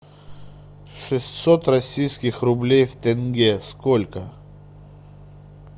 шестьсот российских рублей в тенге сколько